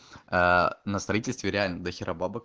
аа на строительстве реальность дохера бабок